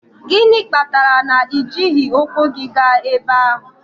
Gịnị kpatara na i jighị ụkwụ gị gaa ebe ahụ?